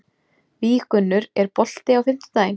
Víggunnur, er bolti á fimmtudaginn?